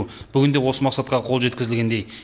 бүгінде осы мақсатқа қол жеткізілгендей